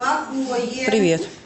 привет